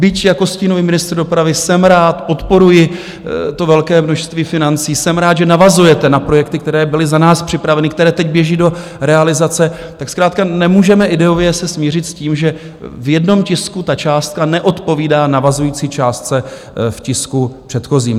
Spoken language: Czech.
Byť jako stínový ministr dopravy jsem rád, podporuji to velké množství financí, jsem rád, že navazujete na projekty, které byly za nás připraveny, které teď běží do realizace, tak zkrátka nemůžeme ideově se smířit s tím, že v jednom tisku ta částka neodpovídá navazující částce v tisku předchozím.